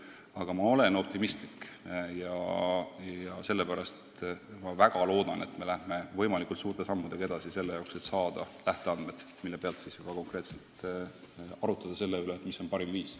Aga ma olen optimistlik ja loodan, et me läheme võimalikult suurte sammudega edasi, et saada lähteandmed, millele toetudes juba konkreetselt arutada, mis on parim lahendus.